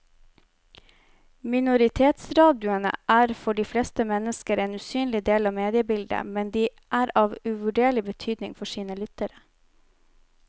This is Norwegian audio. Minoritetsradioene er for de fleste mennesker en usynlig del av mediebildet, men de er av uvurderlig betydning for sine lyttere.